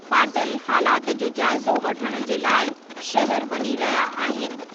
पाटील हालात जो जाइज़ो वठण जे लाइ शहरु वञी रहिया आहिनि।